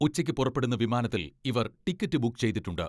ഉച്ചയ്ക്ക് പുറപ്പെടുന്ന വിമാനത്തിൽ ഇവർ ടിക്കറ്റ് ബുക്ക് ചെയ്തിട്ടുണ്ട്.